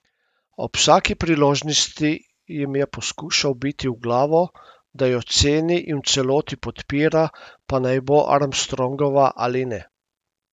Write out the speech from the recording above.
Ob vsaki priložnosti jim je poskušal vbiti v glavo, da jo ceni in v celoti podpira, pa naj bo Armstrongova ali ne.